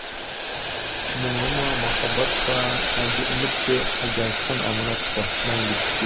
мұңы ма махаббат па әлде үміт пе әлде айтқан аманат па мәңгілікке